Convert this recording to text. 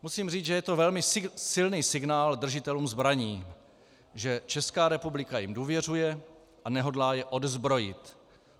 Musím říct, že je to velmi silný signál držitelům zbraní, že Česká republika jim důvěřuje a nehodlá je odzbrojit.